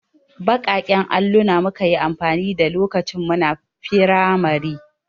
Baƙaƙen alluna muka yi amfani da lokacin muna firamari.